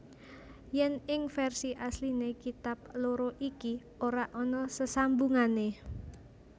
Yen ing versi asliné kitab loro iki ora ana sesambungané